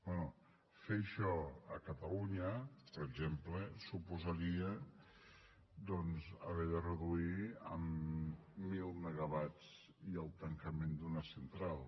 bé fer això a catalunya per exemple suposaria doncs haver de reduir en mil megawatts i el tancament d’una central